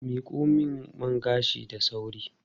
Miko min man gashin da sauri.